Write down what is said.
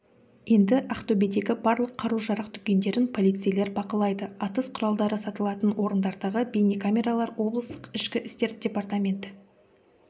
енді ақтөбедегі барлық қару-жарақ дүкендерін полицейлер бақылайды атыс құралдары сатылатын орындардағы бейнекамералар облыстық ішкі істер департаменті